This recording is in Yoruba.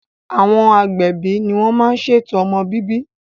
Àwọn agbẹ̀bi ní wọ́n má n ṣètò ọmọ bíbí